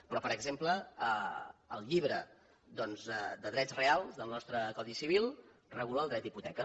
però per exemple el llibre doncs de drets reals del nostre codi civil regula el dret d’hipoteca